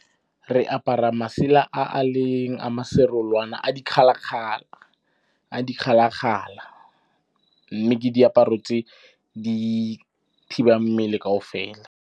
Re apara masela a a leng a ma serolwana a dikgalakgala, a dikgalakgala mme ke diaparo tse di thibang mmele kaofela.